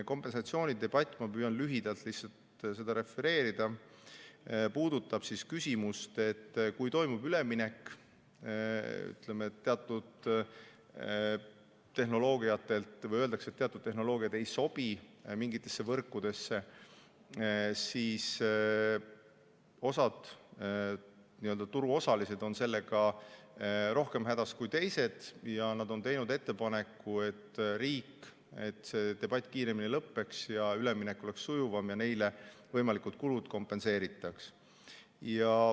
Kompensatsiooni debatt – ma püüan lühidalt seda refereerida – puudutab küsimust, et kui toimub üleminek teatud tehnoloogiatelt või öeldakse, et teatud tehnoloogiad ei sobi mingitesse võrkudesse, siis osad nii-öelda turuosalised on sellega rohkem hädas kui teised ja nad on teinud ettepaneku, et selleks, et see debatt kiiremini lõppeks ja üleminek oleks sujuvam, võiks riik neile võimalikud kulud kompenseerida.